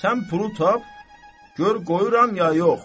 Sən pulu tap, gör qoyuram ya yox.